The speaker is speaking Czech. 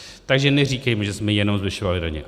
Takže neříkejme, že jsme jenom zvyšovali daně.